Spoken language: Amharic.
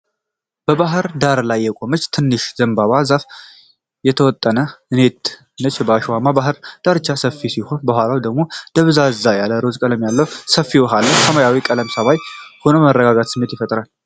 በባህር ዳርቻ ላይ የቆመች ትንሽ የዘንባባ ዛፍና የተወጠረ ኔት ነው። አሸዋውማው የባህር ዳርቻው ከፊት ሲሆን፣ ከኋላው ደግሞ ደብዘዝ ያለ ሮዝ ቀለም ያለው ሰፊ ውሃ አለ። ሰማዩም ቀላል ሰማያዊ ሆኖ የመረጋጋት ስሜትን ይፈጥራል።